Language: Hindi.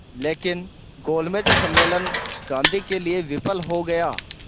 लेकिन गोलमेज सम्मेलन गांधी के लिए विफल हो गया